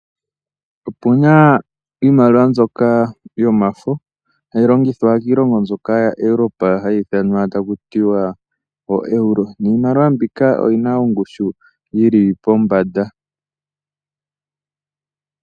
Opu na iimaliwa mbyoka yomafo hayi longithwa kiilongo mbyoka yaEuropa hayi thanwa taku tiwa ooeuro niimaliwa mbika oyi na ongushu yi li pombanda.